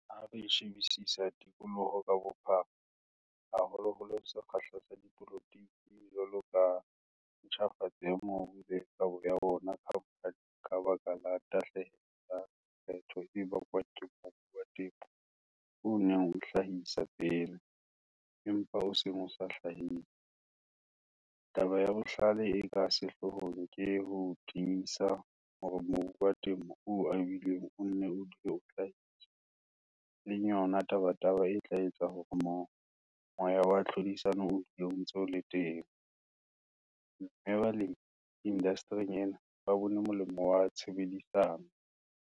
Ha re shebisisa tikoloho ka bophara, haholoholo sekgahla sa dipolotike jwalo ka ntjhafatso ya mobu le kabo ya ona khamphaneng ka baka la tahlehelo ya lekgetho e bakwang ke mobu wa temo o neng o hlahisa pele, empa o seng o sa hlahise, taba ya bohlale e ka sehloohong ke ho tiisa hore mobu wa temo o abilweng o nne o dule o hlahisa, e leng yona tabataba e tla etsa hore moya wa tlhodisano o dule o ntse o le teng, mme balemi indastering ena ba bone molemo wa tshebedisano.